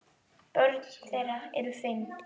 Börn þeirra eru fimm.